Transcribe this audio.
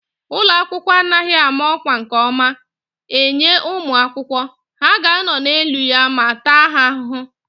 Ụlọ akwụkwọ a anaghị ámá ọkwá nke ọma enye ụmụ akwụkwọ, ha ga anọ n'elu ya ma taa ha ahụhụ